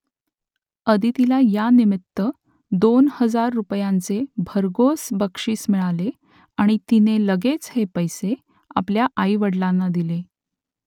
आदितीला यानिमित्त दोन हजार रुपयांचे भरघोस बक्षीस मिळाले आणि तिने लगेच हे पैसे आपल्या आईवडिलांना दिले